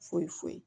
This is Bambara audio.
Foyi foyi